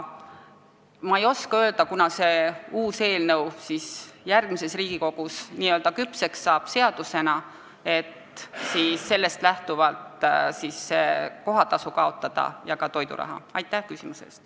Ma ei oska öelda, kunas see uus eelnõu järgmises Riigikogus seadusena küpseks saab ja sellest lähtuvalt kohatasu ja toiduraha maksmine lõpetatakse.